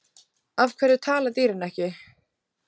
Af hverju tala dýrin ekki?